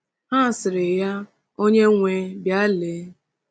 Ha sịrị ya, onyenwe, bịa lee.